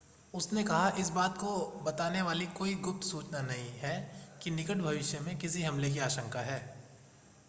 उसने कहा इस बात को बताने वाली कोई गुप्त सूचना नहीं है कि निकट भविष्य में किसी हमले की आशंका है